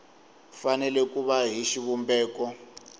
fanele ku va hi xivumbeko